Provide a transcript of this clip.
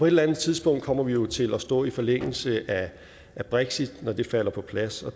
eller andet tidspunkt kommer vi jo til at stå i forlængelse af brexit når det falder på plads